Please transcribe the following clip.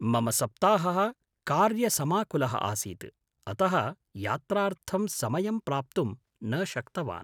मम सप्ताहः कार्यसमाकुलः आसीत्, अतः यात्रार्थं समयं प्राप्तुं न शक्तवान्।